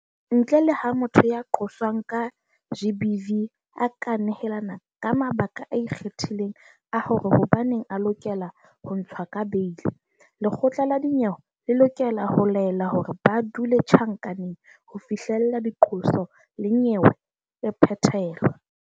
Ntle le ha motho ya qoswang ka GBV a ka nehelana ka mabaka a ikgethileng a hore hobaneng a lokela ho ntshwa ka beili, lekgotla la dinyewe le lokela ho laela hore ba dule tjhankaneng ho fihlela diqoso le nyewe e phethelwa.